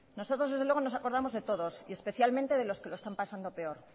nosotros desde luego nos acordamos de todos y especialmente de los que lo están pasando peor